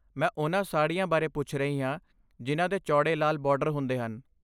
ਮੈਂ ਉਨ੍ਹਾਂ ਸਾੜੀਆਂ ਬਾਰੇ ਪੁੱਛ ਰਹੀ ਹਾਂ ਜਿਨ੍ਹਾਂ ਦੇ ਚੌੜੇ ਲਾਲ ਬਾਰਡਰ ਹੁੰਦੇ ਹਨ।